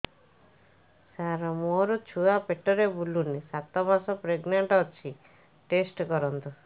ସାର ମୋର ଛୁଆ ପେଟରେ ବୁଲୁନି ସାତ ମାସ ପ୍ରେଗନାଂଟ ଅଛି ଟେଷ୍ଟ କରନ୍ତୁ